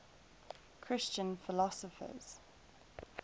christian philosophers